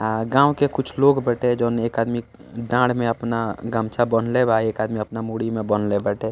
अ गांव के कुछ लोग बाटे जउन एक आदमी डाढ़ में अपना गमछा बांधले बा एक आदमी अपना मुड़ी में बांधले बाटे।